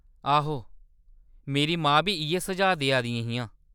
आहो, मेरी मां बी इʼयै सुझाऽ देआ दियां हियां।